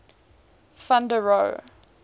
van der rohe